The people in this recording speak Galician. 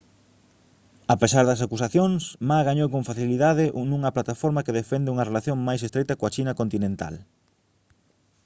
a pesar das acusacións ma gañou con facilidade nunha plataforma que defende unha relación máis estreita coa china continental